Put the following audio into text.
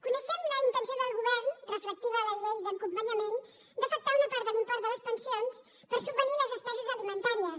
coneixem la intenció del govern respectiva a la llei d’acompanyament d’afectar una part de l’import de les pensions per subvenir les despeses alimentàries